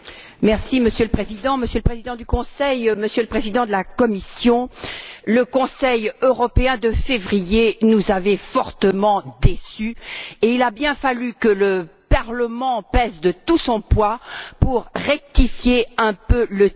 Monsieur le Président, Monsieur le Président du Conseil, Monsieur le Président de la Commission, le Conseil européen de février nous avait fortement déçus, et il a bien fallu que le Parlement pèse de tout son poids pour rectifier un peu le tir.